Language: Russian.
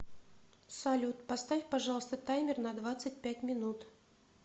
салют поставь пожалуйста таймер на двадцать пять минут